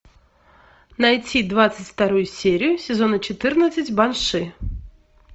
найти двадцать вторую серию сезона четырнадцать банши